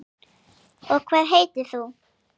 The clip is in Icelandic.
Og hvað heitir þú?